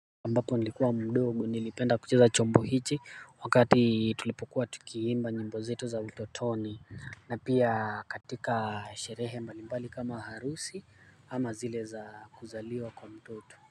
Ambapo nilikuwa mdogo nilipenda kucheza chombo hiki wakati tulipokuwa tukiimba nyimbo zetu za utotoni, na pia katika sherehe mbalimbali kama harusi ama zile za kuzaliwa kwa mtoto.